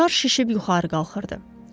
Şar şişib yuxarı qalxırdı.